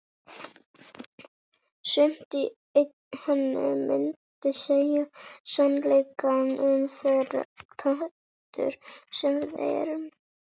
Sumt í henni myndi segja sannleikann um þær pöddur sem við erum